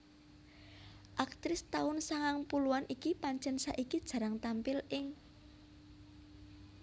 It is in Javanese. Aktris taun sangang puluhan iki pancen saiki jarang tampil ing